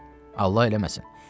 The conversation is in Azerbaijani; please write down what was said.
Xeyr, Allah eləməsin.